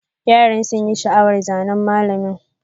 Yaran sun yi sha'awar zanen mallamin.